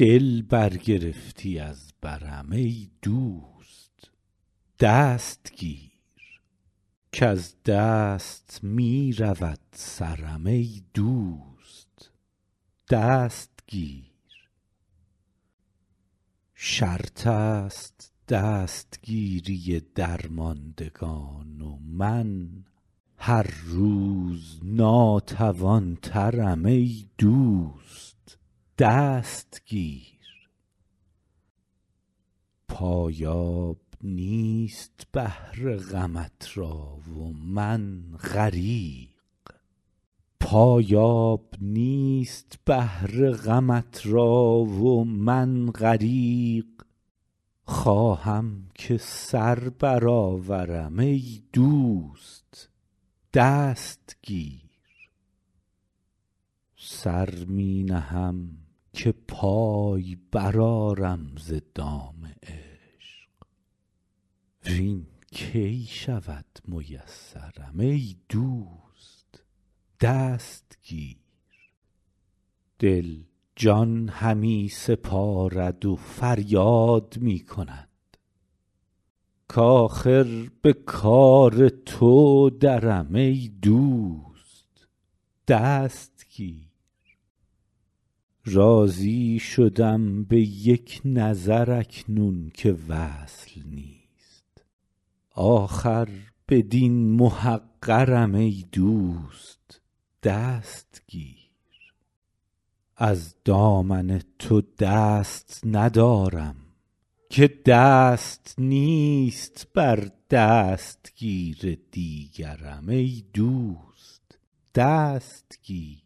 دل برگرفتی از برم ای دوست دست گیر کز دست می رود سرم ای دوست دست گیر شرط است دستگیری درمندگان و من هر روز ناتوان ترم ای دوست دست گیر پایاب نیست بحر غمت را و من غریق خواهم که سر برآورم ای دوست دست گیر سر می نهم که پای برآرم ز دام عشق وین کی شود میسرم ای دوست دست گیر دل جان همی سپارد و فریاد می کند کآخر به کار تو درم ای دوست دست گیر راضی شدم به یک نظر اکنون که وصل نیست آخر بدین محقرم ای دوست دست گیر از دامن تو دست ندارم که دست نیست بر دستگیر دیگرم ای دوست دست گیر